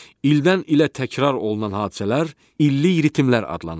İldən ilə təkrarlanan hadisələr illik ritmlər adlanır.